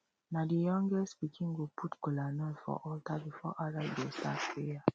na the youngest pikin go put kolanut for altar before adult go start prayer